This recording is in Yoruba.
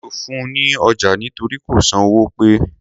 Mí ò fun ní ọjà nítorí kò san owó pe.